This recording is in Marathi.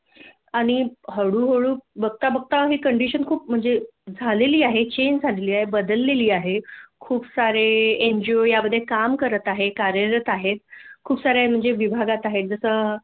आणि हळूहळू बघता बघता हे कंडिशन खूप म्हणजे झालेली आहे चेंज झाली आहे बदलेली झाली आहे बदलेली आहे खूप सारे एन. जी. ओ या मधे काम करत आहेत कार्यरत आहेत खूप सारे विभागात आहेत जस